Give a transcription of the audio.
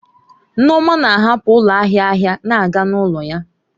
Nneoma na-ahapụ ụlọ ahịa ahịa na-aga n'ụlọ ya.